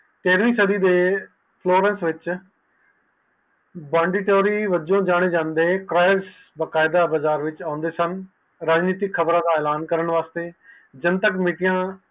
ਤੇਰਵੀ ਸਦੀ ਦੇ ਵਿਚ ਬੰਡਿਟੋਰੀ ਵਲੋਂ ਜਾਣੇ ਜਾਂਦੇ ਬਾਕਾਇਦਾ ਬਾਜ਼ਾਰ ਵਿਚ ਆਉਂਦੇ ਸਨ ਰਾਜਨਿਤੀ ਖ਼ਬਰ ਦਾ ਐਲਾਨ ਕਰਨ ਲਯੀ ਜਨਤਕ ਮੀਟਿੰਗ ਕਰਦੇ ਹਨ